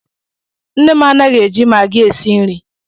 Nne m anaghị e ji magi esi nri